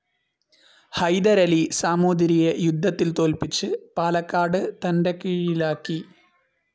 ഹൈദരലി സാമൂതിരിയെ യുദ്ധത്തിൽ തോൽപിച്ച് പാലക്കാട് തൻ്റെ കീഴിലാക്കി.